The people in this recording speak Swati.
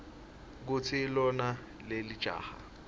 kutsi lona lelijaha